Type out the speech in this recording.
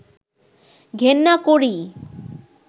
ঘেন্না করি